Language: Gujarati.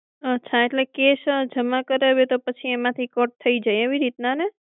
અચ્છા તો cash જમા કરાવીએ એમાંથી cut થઇ જાય એવી રીતના ને